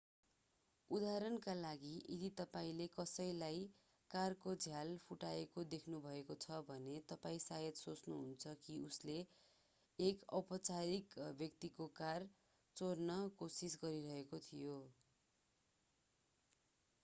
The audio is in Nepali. उदाहरणका लागि यदि तपाईंले कसैलाई कारको झ्याल फुटाएको देख्नु भएको छ भने तपाईं सायद सोच्नुहुन्छ कि उसले एक अपरिचित व्यक्तिको कार चोर्न कोसिस गरिरहेको थियो